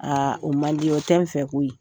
Aa o man di, o tɛ n fɛ ko ye.